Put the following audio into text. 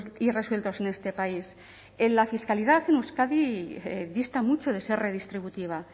irresueltos en este país la fiscalidad en euskadi dista mucho de ser redistributiva